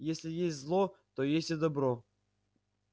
если есть зло то есть и добро